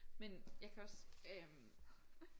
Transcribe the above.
Men jeg kan også øh